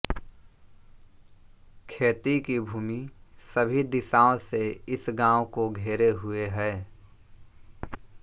खेती की भूमि सभी दिशाओं से इस गांव को घेरे हुए है